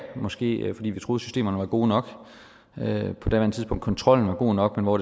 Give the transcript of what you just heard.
måske fordi vi troede systemerne var gode nok på daværende tidspunkt kontrollen var god nok men hvor